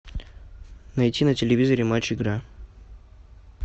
найти на телевизоре матч игра